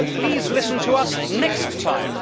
But please listen to us next time.